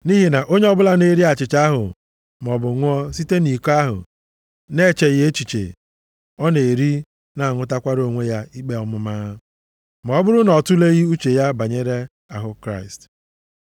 Nʼihi na onye ọbụla na-eri achịcha ahụ maọbụ ṅụọ site nʼiko ahụ na-echeghị echiche, ọ na-eri, na-aṅụtakwara onwe ya ikpe ọmụma, ma ọ bụrụ na ọ tuleghị uche banyere ahụ Kraịst.